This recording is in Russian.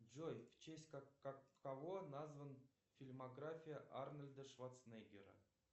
джой в честь кого назван фильмография арнольда шварцнегера